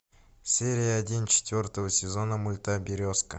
серия один четвертого сезона мульта березка